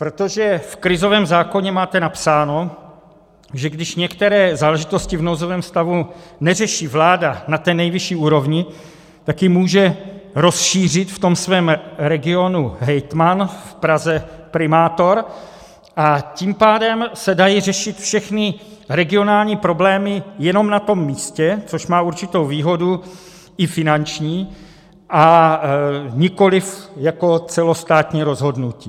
Protože v krizovém zákoně máte napsáno, že když některé záležitosti v nouzovém stavu neřeší vláda na té nejvyšší úrovni, tak je může rozšířit v tom svém regionu hejtman, v Praze primátor, a tím pádem se dají řešit všechny regionální problémy jenom na tom místě, což má určitou výhodu i finanční, a nikoliv jako celostátní rozhodnutí.